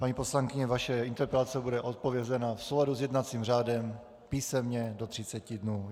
Paní poslankyně, vaše interpelace bude odpovězena v souladu s jednacím řádem písemně do 30 dnů.